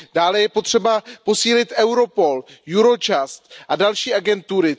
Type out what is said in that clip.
Dále je potřeba posílit Europol, Eurojust a další agentury.